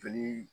Joli